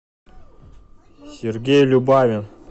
сергей любавин